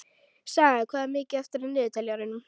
Saga, hvað er mikið eftir af niðurteljaranum?